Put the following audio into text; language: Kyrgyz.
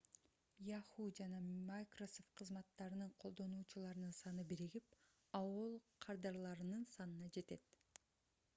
yahoo жана microsoft кызматтарынын колдонуучуларынын саны биригип aol кардарларынын санына жетет